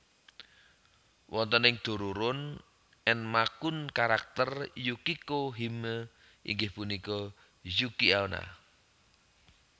Wonten ing Dororon Enma kun karakter Yukiko Hime inggih punika Yuki onna